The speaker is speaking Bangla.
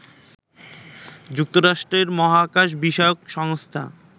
যুক্তরাষ্ট্রের মহাকাশ বিষয়ক সংস্থা